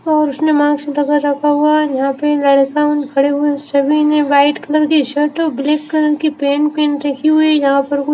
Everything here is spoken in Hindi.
और उसने माँस लगा रखा हुआ है। यहा पे लड़का उन खड़े उन सभी ने व्हाइट कलर की शर्ट और ब्लैक कलर की पेंट पहेन रखी हुई यहा पर कु --